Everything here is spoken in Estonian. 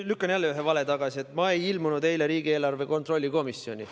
Lükkan jälle tagasi ühe vale, et ma ei ilmunud eile riigieelarve kontrolli komisjoni.